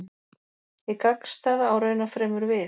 Hið gagnstæða á raunar fremur við.